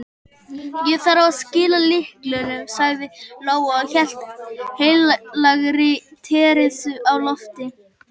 Ég þarf að skila lyklunum, sagði Lóa og hélt heilagri Teresu á lofti.